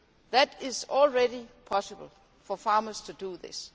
It is already possible for farmers to do this.